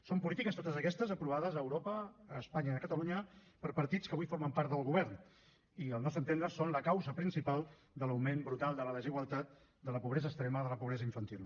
són polítiques totes aquestes aprovades a europa a espanya i a catalunya per partits que avui formen part del govern i al nostre entendre són la causa principal de l’augment brutal de la desigualtat de la pobresa extrema de la pobresa infantil